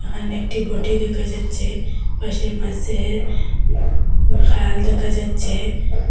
এখানে একটি বঁটি দেখা যাচ্ছে পাশে মাসের খাল দেখা যাচ্ছে।